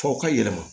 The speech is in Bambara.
Fɔ ka yɛlɛma